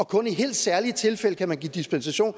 kun i helt særlige tilfælde kan give dispensation